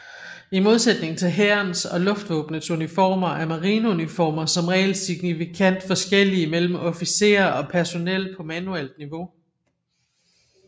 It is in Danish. I modsætning til hærens og luftvåbnets uniformer er marineuniformer som regel signifikant forskellige mellem officerer og personel på manuelt niveau